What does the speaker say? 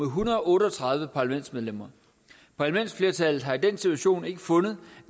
hundrede og otte og tredive parlamentsmedlemmer parlamentsflertallet har i den situation ikke fundet